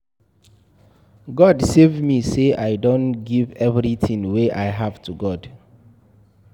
God save me say I don give everything wey I have to God